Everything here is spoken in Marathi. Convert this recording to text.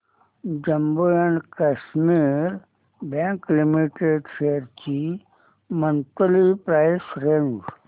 Jammu and Kashmir bank limited shares ची मंथली प्राइस रेंज